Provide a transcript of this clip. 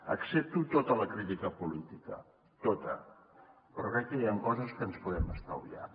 accepto tota la crítica política tota però crec que hi han coses que ens podem estalviar